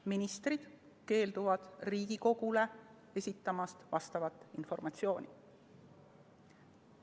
– ministrid keelduvad Riigikogule esitamast vastavat informatsiooni.